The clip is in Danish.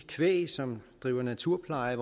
kvæg som driver naturpleje